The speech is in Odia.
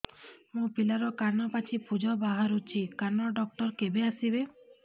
ମୋ ପିଲାର କାନ ପାଚି ପୂଜ ବାହାରୁଚି କାନ ଡକ୍ଟର କେବେ ଆସିବେ